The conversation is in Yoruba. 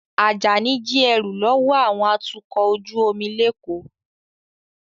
Ajani jí ẹrú lọ́wọ́ àwọn atukọ̀ ojú omi l'Eko